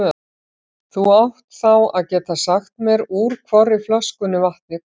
Þú átt þá að geta sagt mér úr hvorri flöskunni vatnið kom.